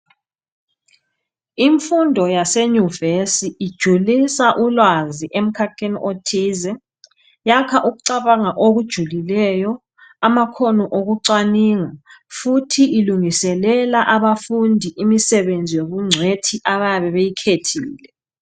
Imfundo yasenyuvesi ijulisa ulwazi emkhakheni othize. Yakha ukucabanga okujulileyo amakhono okucwaningwa. Futhi ilungiselela abafundi imsebenzi yobungcwethi abayabe beyikhethile